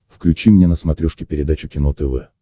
включи мне на смотрешке передачу кино тв